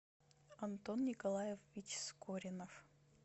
антон николаев вическоринов